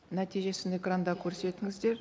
нәтижесін экранда көрсетіңіздер